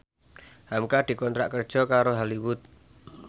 hamka dikontrak kerja karo Hollywood